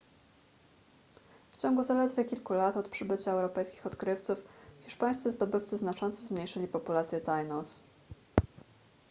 w ciągu zaledwie kilku lat od przybycia europejskich odkrywców hiszpańscy zdobywcy znacząco zmniejszyli populację tainos